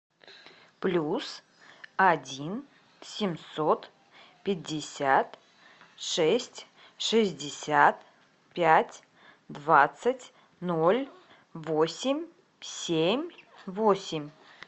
плюс один семьсот пятьдесят шесть шестьдесят пять двадцать ноль восемь семь восемь